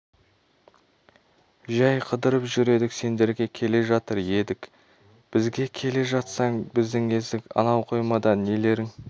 жәй қыдырып жүр едік сендерге келе жатыр едік бізге келе жатсаң біздің есік анау қоймада нелерің